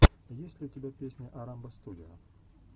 есть ли у тебя песня орамбо студио